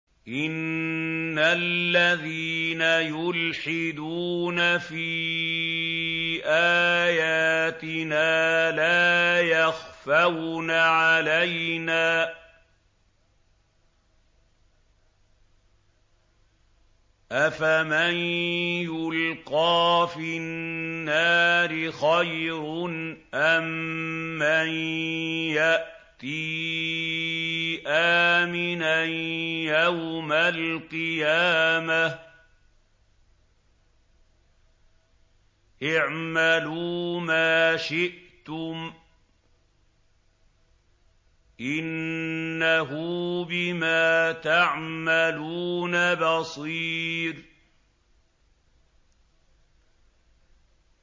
إِنَّ الَّذِينَ يُلْحِدُونَ فِي آيَاتِنَا لَا يَخْفَوْنَ عَلَيْنَا ۗ أَفَمَن يُلْقَىٰ فِي النَّارِ خَيْرٌ أَم مَّن يَأْتِي آمِنًا يَوْمَ الْقِيَامَةِ ۚ اعْمَلُوا مَا شِئْتُمْ ۖ إِنَّهُ بِمَا تَعْمَلُونَ بَصِيرٌ